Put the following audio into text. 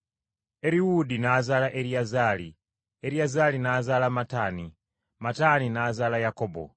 Eriwuudi n’azaala Eriyazaali, Eriyazaali n’azaala Mataani, Mataani n’azaala Yakobo.